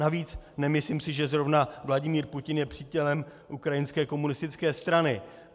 Navíc, nemyslím si, že zrovna Vladimír Putin je přítelem ukrajinské komunistické strany.